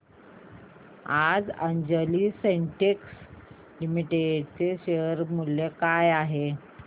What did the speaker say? आज Anjani synthetics limited चे share मूल्य काय आहे